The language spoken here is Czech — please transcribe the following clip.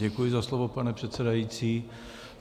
Děkuji za slovo, pane předsedající.